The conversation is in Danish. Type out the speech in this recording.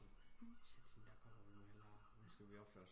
Shit hende der kommer vi mp hellere nu mp vi opføre os orndeligt